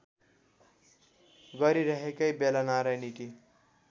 गरिरहेकै बेला नारायणहिटी